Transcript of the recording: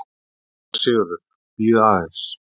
SÉRA SIGURÐUR: Bíðið aðeins!